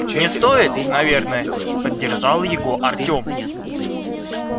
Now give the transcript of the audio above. не стоит наверное поддержал его артём